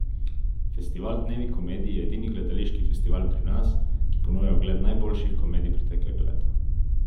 Festival Dnevi komedije je edini gledališki festival pri nas, ki ponuja ogled najboljših komedij preteklega leta.